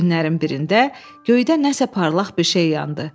Günlərin birində göydə nəsə parlaq bir şey yandı.